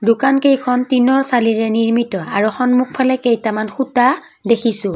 দোকানকেইখন টিনৰ চালিৰে নিৰ্মিত আৰু সন্মুখফালে কেইটামান সুতা দেখিছোঁ।